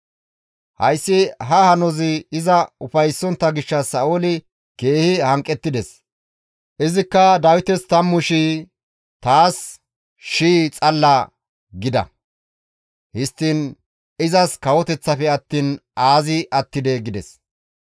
Hayssi ha hanozi iza ufayssontta gishshas Sa7ooli keehi hanqettides; izikka, «Dawites tammu shii, taas shii xalla! gida. Histtiin izas kawoteththafe attiin aazi attidee!» gides.